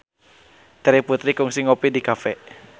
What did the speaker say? Terry Putri kungsi ngopi di cafe